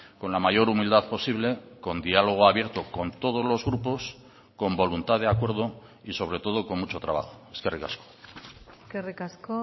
con la mayor humildad posible con diálogo abierto con todos los grupos con voluntad de acuerdo y sobre todo con mucho trabajo eskerrik asko eskerrik asko